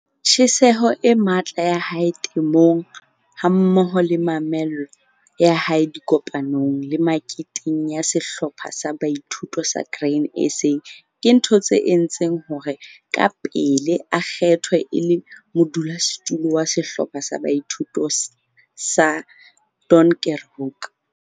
Tjheseho e matla ya hae temong hammoho le mamello ya hae dikopanong le meketeng ya Sehlopha sa Boithuto sa Grain SA ke dintho tse entseng hore kapele a kgethwe e le modulasetulo wa Sehlopha sa Boithuto sa Donkerhoek.